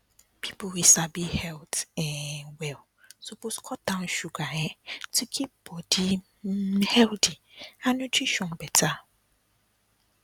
people wey sabi health um well suppose cut down sugar um to keep body um healthy and nutrition better